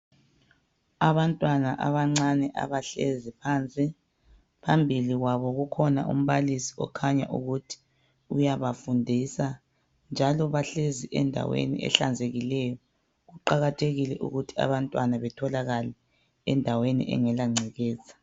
Abantwana abancane abahlezi phansi phambili kwabo kukhona umbalisi okhanya ukuthi uyabafundisa ,njalo bahlezi endaweni ehlanzekileyo kuqakathekile ukuthi abantwana betholakale endaweni engela ngcekeza.